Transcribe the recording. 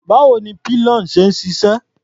Báwo ni pillion ṣe ń ṣiṣẹ́?